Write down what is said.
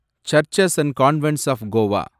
churches and convents of Goa